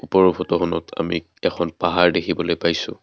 ওপৰৰ ফটোখনত আমি এখন পাহাৰ দেখিবলৈ পাইছোঁ।